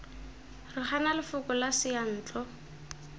re gana lefoko la seyantlo